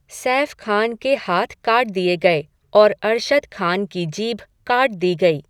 सैफ खान के हाथ काट दिए गए और अरशद खान की जीभ काट दी गई।